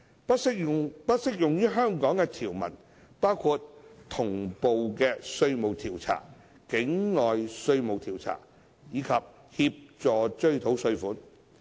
不適用於香港的條文包括同步稅務調查、境外稅務調查及協助追討稅款。